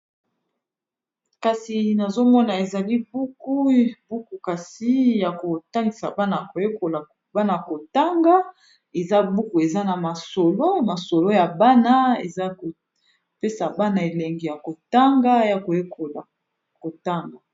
Kasi nazomona ezali buku, buku kasi ya kotangisa bana koyekola bana kotanga eza buku eza na masolo masolo ya bana eza kopesa bana elengi ya kotanga ya koyekola kotanga.